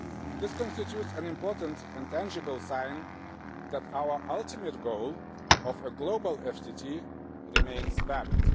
This constitutes an important and tangible sign that our ultimate goal of a global FTT remains valid.